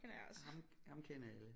Ham ham kender alle